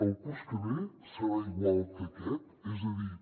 el curs que ve serà igual que aquest és a dir